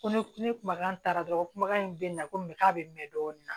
Ko ne ni kumakan taara dɔrɔn ko kumakan in bɛ na komi k'a bɛ mɛn dɔɔnin